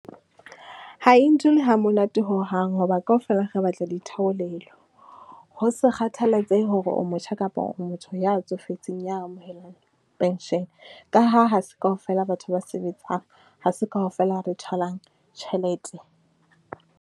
Ha e ntule ha monate hohang, ho ba kaofela re batla ditheolelo, ho sa kgathalatsehe hore o motjha kapa o motho ya tsofetseng, ya amohelang pension, ka ha ha se kaofela batho ba sebetsang, ha se kaofela re tholang tjhelete.